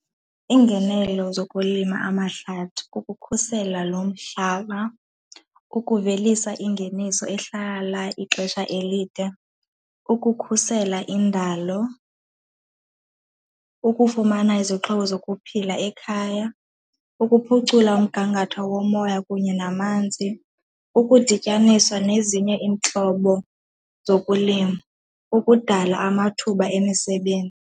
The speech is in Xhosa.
Iingenelo zokulima amahlathi kukukhusela lo mhlaba, ukuvelisa ingeniso ehlala ixesha elide, ukukhusela indalo, ukufumana izixhobo zokuphila ekhaya, ukuphucula umgangatho womoya kunye namanzi, ukudityaniswa nezinye iintlobo zokulima, ukudala amathuba emisebenzi.